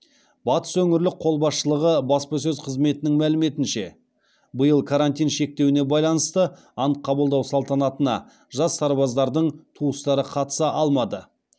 батыс өңірлік қолбасшылығы баспасөз қызметінің мәліметінше биыл карантин шектеуіне байланысты ант қабылдау салтанатына жас сарбаздардың туыстары қатыса алмады